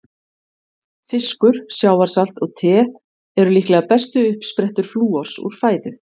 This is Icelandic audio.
Fiskur, sjávarsalt og te eru líklega bestu uppsprettur flúors úr fæðu.